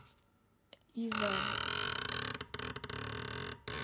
Í vörn.